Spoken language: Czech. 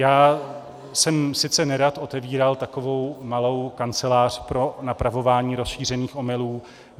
Já jsem, sice nerad, otevíral takovou malou kancelář pro napravování rozšířených omylů.